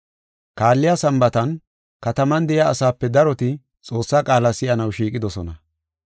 Kaalliya Sambaatan kataman de7iya asaape daroti Xoossaa qaala si7anaw shiiqidosona.